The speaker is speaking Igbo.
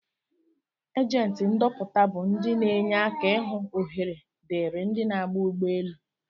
agenti ndọpụta bu ndi n' enye aka ihụ ohere diri ndi n'aba ụgbọ elụ.